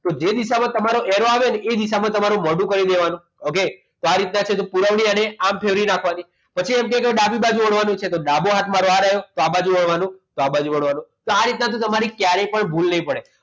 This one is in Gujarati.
તો જે દિશામાં તમારે arrow આવે ને એ દિશામાં તમારું મોડું ફેરવી નાખવાનું okay તો આ રીતના છે તો પુરવણીના નામ ફેરવી નાખવાની પછી એમ કે ડાબી બાજુ વળવાનું છે તો ડાબો હાથ મારો આ રહે તો આ બાજુ વળવાનું તો આ બાજુ વાળવાનું આ દિશા તમારે ક્યારે પણ ભૂલ નહીં પડે